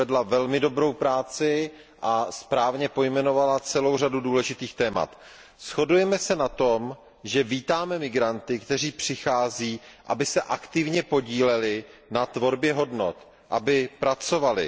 Odvedla velmi dobrou práci a správně pojmenovala celou řadu důležitých témat. Shodujeme se na tom, že vítáme migranty, kteří přichází, aby se aktivně podíleli na tvorbě hodnot, aby pracovali.